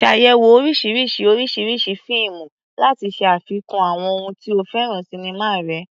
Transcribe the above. Ṣàyẹ̀wò oríṣiríṣi oríṣiríṣi fíìmù láti ṣe àfikún àwọn ohun tí o fẹ́ràn sinimá rẹ.